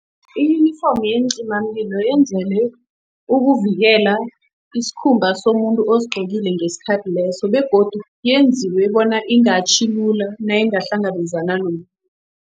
Iyunifomu yeencimamlilo yenzelwe ukuvikela isikhumba somuntu osigqokile ngesikhathi leso begodu yenziwe bona ingatjhi lula, nayingahlangabezana